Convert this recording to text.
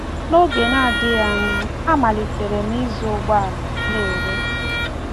N’oge nadịghị anya, amalitere m ịzụ ụgbọala na-ere.